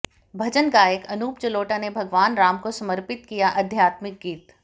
भजन गायक अनूप जलोटा ने भगवान राम को समर्पित किया आध्यात्मिक गीत